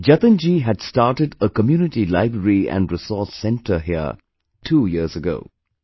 Jatin ji had started a 'Community Library and Resource Centre' here two years ago